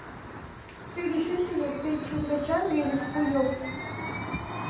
ты решись уже ты чунга чанга или ку ку ёпта